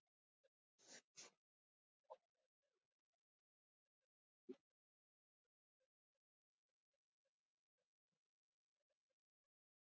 Þið takið strax ástfóstri við það.